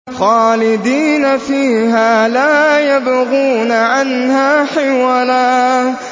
خَالِدِينَ فِيهَا لَا يَبْغُونَ عَنْهَا حِوَلًا